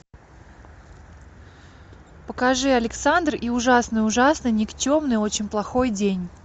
покажи александр и ужасный ужасный никчемный очень плохой день